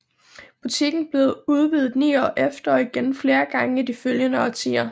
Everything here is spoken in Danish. Butikken blev udvidet ni år efter og igen flere gange i de følgende årtier